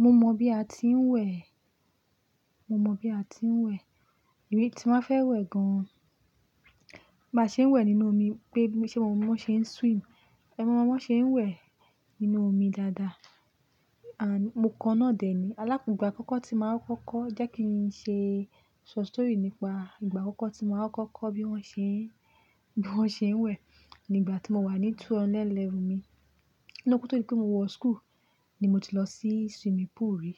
Mo mọ bí a ti ń wẹ̀, mo mọ bí a ti ń wẹ̀. Èyí tí màá fẹ́ wẹ̀ gan, bá ṣe ń wẹ̀ nínú omi pé bí mo ṣe mọ mo bí wọ́n ṣe ń swim, ẹ mọ̀ mo bo ṣe ń wẹ̀ nínú omi dáadáa. À, mo kọ náà dẹ̀ ni. Alákugba àkọ́kọ́ tí màá kọ́kọ́ jẹ́ kí n ṣe so story nípa ìgbà àkọ́kọ́ tí màá kọ́kọ́ bí wọ́n ṣe ń, bí wọ́n ṣe ń wẹ̀ ní ìgbà tí mo wà ní 200 level mi. Na ko to di wipe mo wọ school ni mo ti lọ sí swimming pool rí.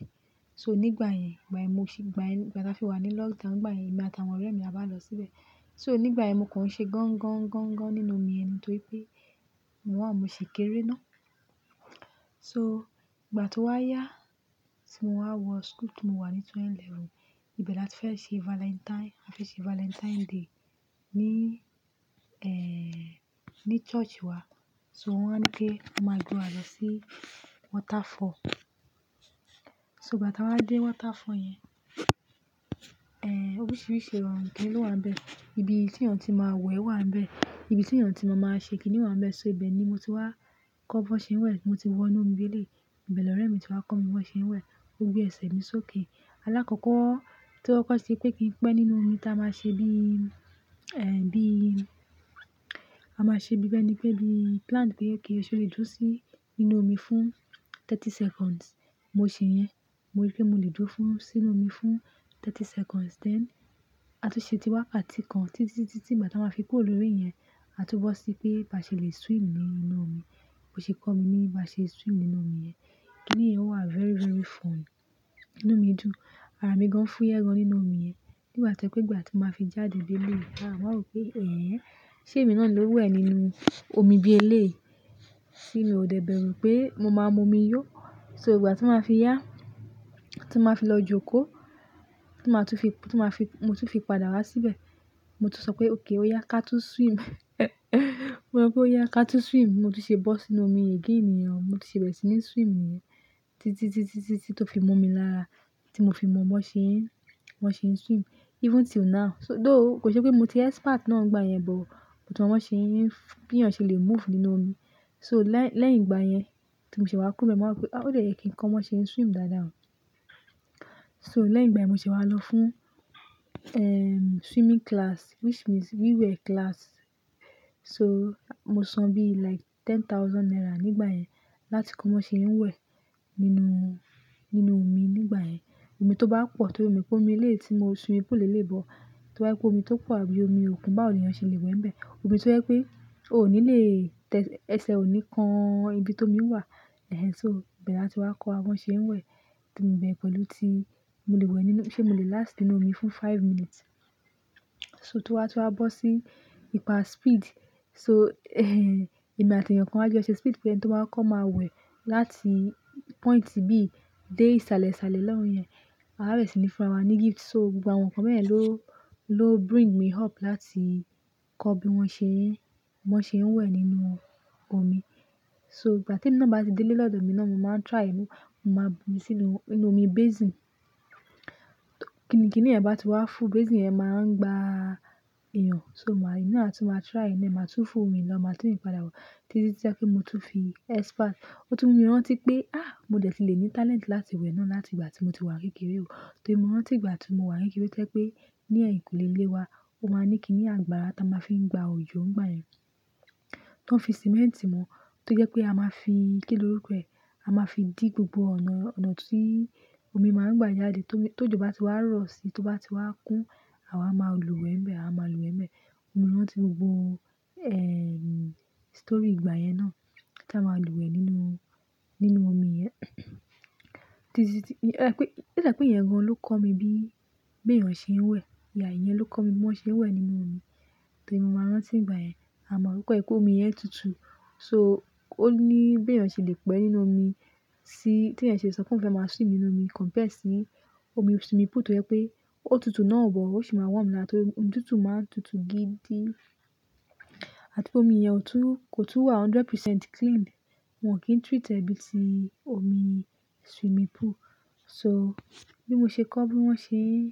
So nígbà yẹn, ìgbà ẹ́ mo ṣi-- ìgbà ẹ́, ìgbà táa fi wà ní lockdown, ìgbà ẹ́ èmi àti àwọn ọ̀rẹ́ mi a bá lọ síbẹ̀. So nígbà ẹ́ mo kọ̀ ń ṣe gangan, gangan nínú omi ẹni tóri pé mo wà, mo si kéré ná. So ìgbà tó wá yá, tí mo wá wọ school tí mo wà ní 200, ibẹ̀ láti fẹ́ ṣe valentine, a fẹ́ ṣe valentine day ní, ẹ́, ní church wa. So wọ́n ní pé a máa gbe lọ sí waterfall. So ìgbà táa wá dé waterfall yẹn, ẹ́, oríṣìíríṣìí ọ̀ràn kíni ló wà ńbẹ̀. Ibi tí èèyàn tí máa wẹ̀ wà ńbẹ̀, ibi tí èèyàn tí máa máa ṣe kíni wà ńbẹ̀. So ibẹ̀ ni mo ti wá kọ bí wọ́n ṣe ń wẹ̀, mo ti wọ inú ilé. Ìbẹ̀ lọ̀rẹ́ mi ti wá kọ mi bi wọ́n ṣe ń wẹ̀. Ó gbé ẹsẹ̀ mi sókè. Alákọ́kọ́ tó kọ́ ṣe pé kí n pẹ́ nínú omi táa máa ṣe bí, ẹ́, bí, a máa ṣe bí bẹ́ẹ́ ni pé bí plan pé kí ẹ ṣe duro sí inú omi fún ọgbọ̀n seconds. Mo ṣe yẹn. Mo rí pé mo lè duro fún, sínú omi fún ọgbọ̀n seconds. Then a ti ṣe ti wákàtí kan títí tí ìgbà táa fi kuro lórí yẹn, a tún bọ́ sí pé ba ṣe lè swim nínú omi. Ó ṣe kọ́ mi ní ba ṣe swim nínú omi niyẹn. Kíni ẹ́ wà very, very fun. Inú mi dun. Ara mi gan fuye gan nínú omi yẹn. Nigba tẹ́ pé ìgbà tí mo máa fi jáde béle, a mowa rò pé "Ẹ̀yẹn, ṣé èmi náà ló wẹ̀ nínú omi bi eleyi?" ti mi ó dẹ̀ bẹ̀rù pé mo máa mú omi yó. So ìgbà tí màá fi yá, tí màá fi lọ jókòó, tí màá tún fi, tí màá fi, mo tún fi padà wá síbẹ̀. Mo tún sọ pé "Okay, oya ká tú swim." Mo wípé "Oya ká tú swim." Mo tún ṣe bọ́ sínú omi again nìyẹn. Mo tún ṣe bẹ̀rẹ̀ sí ní swim nìyẹn títí, títí, títí tó fi mo mi lára tí mo fi mọ bí wọ́n ṣe ń, wọ́n ṣe ń swim even till now. So though kò ṣe pé mo ti expert ná nígbà yẹn, but mo ti mọ bí wọ́n ṣe ń, bí èèyàn ṣe lè move nínú omi. So lẹ́yìn, lẹ́yìn ìgbà yẹn tí mo ṣe wá kúrò bẹ̀, màá rò pé "Ó dẹ̀ yẹ kí n kọ bí wọ́n ṣe ń swim dáadáa." So lẹ́yìn ìgbà ẹ́ mo ṣe wá lọ fún, ẹ́m, swimming class which means wiwe class. So mo san bí like ten thousand naira nígbà ẹ́ láti ko bi wọ́n ṣe n wẹ̀ nínú, nínú omi nígbà ẹ́. Omi tó bá pọ̀ torí omi o mo pe omi ilé tí mo swimming pool ilé lè but tó bá je pe omi tó pọ̀ àbí omi òkun bá òní èèyàn ṣe lè wẹ̀ ńbẹ̀. Omi tí ó jẹ́ pé o ò ní lè tẹ́-- ẹsẹ̀ ò ní kan ibi tó omi wà. Ẹ̀hen. So ibẹ̀ láti wá kọ́ àwọn ṣe ń wẹ̀. Tí mo we pẹ̀lú tí mo lè wẹ̀ nínú, ṣé mo lè last nínú omi fún five minutes. So tí wọ́n á, tí wọ́n á bọ́ sí ìpa speed. So, ẹ́hen, èmi àti èèyàn kan á jẹ́ o ṣe speed pé ẹni tó máa kọ́ máa wẹ̀ láti point ibii dé ìsàlẹ̀ ìsàlẹ̀ lọ́hun yẹn. Awa be rẹ̀ sì ń fi fún ara wa ní gift. So gbogbo àwọn nǹkan mẹ́ẹ̀lò ló, ló bring me up láti kọ́ bí wọ́n ṣe ń, wọ́n ṣe ń wẹ̀ nínú omi. So ìgbà tí emi ná bá ti délé lọ́dọ̀ mi náà, mo máa ń try mú, mo máa bù mí sínú inú omi basin. Kíni, kíni ìyẹn bá ti wá fú, basin yẹn máa ń gba èèyàn. So màá rí emi ná, àti màá try iná, màá tún fò omi lọ, màá tún ìpadà wọ̀ títí tí ẹ́ pé mo tún fi expert. Ó tún mú mi rántí pé "Á, mo dẹ̀ ti lè ní talent láti wẹ̀ náà láti ìgbà tí mo ti wà kékeré o." Torí mo rántí ìgbà tí mo wà kékeré to jẹ́ pé ní ẹ̀yìnkùlé ilé wa, ó máa ní kíni àgbára tí a máa fi ń gba òjò nígbà ẹ́. Ti wọ́n fi cement mọ, tó jẹ́ pé a máa fi, kíni orúkọ rẹ̀? A máa fi dí gbogbo ọ̀nà, ọ̀nà tí omi máa ń gba jáde tó bá ti wá rọ̀ sí, tó bá ti wá kún, àwa máa lù wẹ̀ ńbẹ̀, àwa máa lù wẹ̀ ńbẹ̀. Mo rántí gbogbo, ẹ́m, story ìgbà yẹn náà tí a máa lù wẹ̀ nínú, nínú omi yẹn. Títí, títí, ẹ́ pé, o da wipe ẹ̀yẹn gan ló kọ́ mi bí, bí èèyàn ṣe ń wẹ̀. Ìyá èèyàn ló kọ́ mi bí wọ́n ṣe ń wẹ̀ nínú omi. Torí mo máa rántí ìgbà yẹn, a mọ̀ pé ikú omi yẹn tutù. So ó ní bí èèyàn ṣe lè pẹ́ nínú omi sí-- tí èèyàn ṣe lè sọ pe ẹ oun fe máa swim nínú omi compare sí omi swimming pool tó jẹ́ pé ó tutù náà bọ̀, ó sì máa warm lara tori omi tútù máa ń tutù gidi. Àti pé omi ìyẹn kò tú, kò tú wà ọgọ́rùn-ún pasẹ́nti cleaned. Wọn kì í treat ẹ́ bíi ti omi swimming pool. So bí mo ṣe kọ́ bí wọ́n ṣe ń.